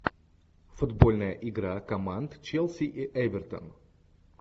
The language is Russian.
футбольная игра команд челси и эвертон